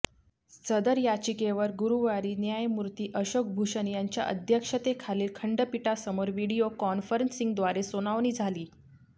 सदर याचिकेवर गुरूवारी न्यायमूर्ती अशोक भुषण यांच्या अध्यक्षतेखालील खंडपीठासमोर व्हिडिओ कॉन्फरन्सिंगद्वारे सुनावणी झाली